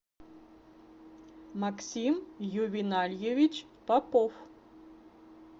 максим ювенальевич попов